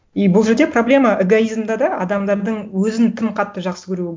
и бұл жерде проблема эгоизмда да адамдардың өзін тым қатты жақсы көруі